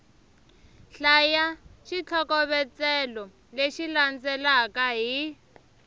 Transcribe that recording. hlaya xitlhokovetselo lexi landzelaka hi